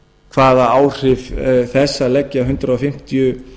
hvaða áhrif þess að leggja hundrað fimmtíu